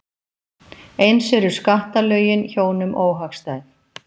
Eins eru skattalögin hjónum óhagstæð.